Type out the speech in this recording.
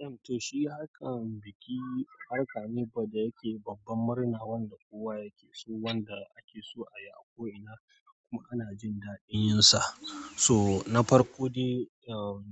To, shi harkan biki harka ne ko da yake babban murna wanda kowa yake so wanda ake so a yi a ko ina kuma ana jin daɗin yin sa. Toh na farko dai